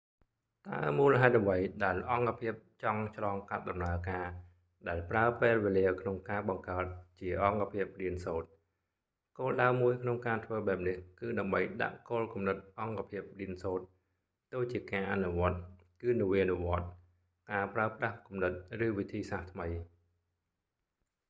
តើមូលហេតុអ្វីដែលអង្គភាពចង់ឆ្លងកាត់ដំណើរការដែលប្រើពេលវេលាក្នុងការបង្កើតជាអង្គភាពរៀនសូត្រ? គោលដៅមួយក្នុងការធ្វើបែបនេះគឺ ដើម្បីដាក់គោលគំនិតអង្គភាពរៀនសូត្រទៅជាការអនុវត្ដគឺនវានុវត្ដន៍ការប្រើប្រាស់គំនិតឬវិធីសាស្រ្ដថ្មី។